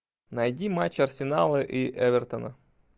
найди матч арсенала и эвертона